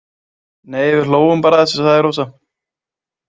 Nei við hlógum bara að þessu, sagði Rósa.